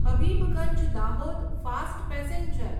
Habibganj Dahod fast passenger